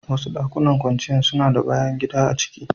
Wasu dakunan kwanciyar suna da bayan gida a ciki.